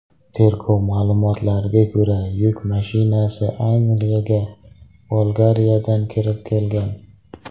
Tergov ma’lumotlariga ko‘ra, yuk mashinasi Angliyaga Bolgariyadan kirib kelgan.